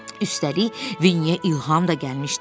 Üstəlik, Vinniyə İlham da gəlmişdi.